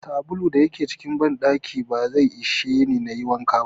Sabulun da yake cikin banɗakin ba zai isheni nayi wanka ba.